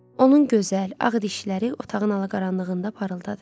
Onun gözəl ağ dişləri otağın ala-qaranlığında parıldadı.